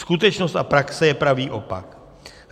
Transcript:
Skutečnost a praxe je pravý opak.